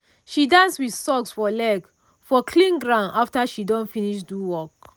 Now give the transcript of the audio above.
she dance with sock for leg for clean ground after she don finish do work.